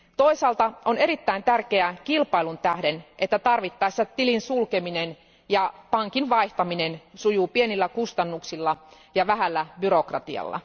Toisaalta on erittäin tärkeää kilpailun tähden, että tarvittaessa tilin sulkeminen ja pankin vaihtaminen sujuu pienillä kustannuksilla ja vähällä byrokratialla.